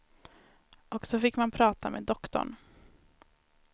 Och så fick man prata med doktorn.